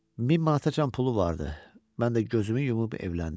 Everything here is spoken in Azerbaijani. Min manatacan pulu vardı, mən də gözümü yumub evləndim.